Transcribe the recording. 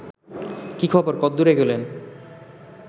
কী খবর কদ্দুর এগোলেন